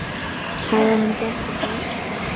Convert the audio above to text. Hafði hann gert eitthvað af sér?